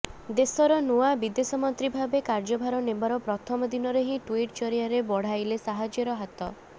ଦେଶର ନୂଆ ବିଦେଶମନ୍ତ୍ରୀ ଭାବେ କାର୍ଯ୍ୟଭାର ନେବାର ପ୍ରଥମ ଦିନରେ ହିଁ ଟ୍ୱିଟ ଜରିଆରେ ବଢାଇଲେ ସାହାଯ୍ୟର ହାତ